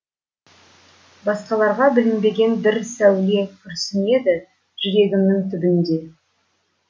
басқаларға білінбеген бір сәуле күрсінеді жүрегімнің түбінде